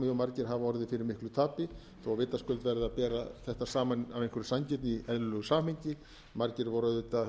margir hafa orðið fyrir mæli tapi þó vitaskuld verði að bera þetta saman af einhverri sanngirni í eðlilegu samhengi margir voru auðvitað